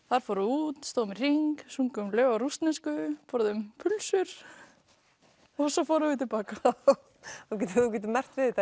þar fórum út stóðum í hring sungum lög á rússnesku borðuðu pulsur svo fórum við til baka þú getur merkt við þetta